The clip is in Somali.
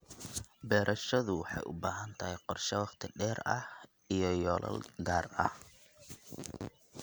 Beerashadu waxay u baahan tahay qorshe wakhti dheer ah iyo yoolal gaar ah.